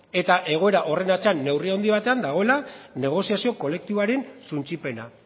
eta egoera horren atzean neurri handi batean dagoela negoziazio kolektiboaren suntsipena